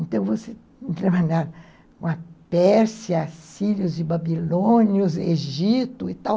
Então, você com a Pérsia, Sírios e Babilônios, Egito e tal.